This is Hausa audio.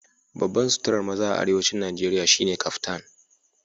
Babban suturar maza a Arewacin Najeriya shine Kaftan